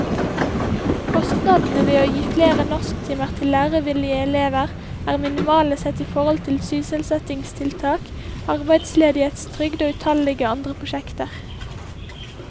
Kostnadene ved å gi flere norsktimer til lærevillige elever er minimale sett i forhold til sysselsettingstiltak, arbeidsledighetstrygd og utallige andre prosjekter.